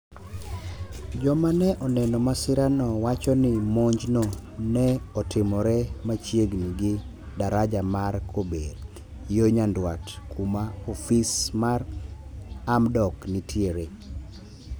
joma ne oneno masira no wacho ni monj no ne otimore machiegni gi. daraja mar kober, yo nyandwat , kuma ofis mar hamdok nitiere